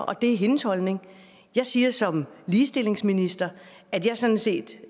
og det er hendes holdning jeg siger som ligestillingsminister at jeg sådan set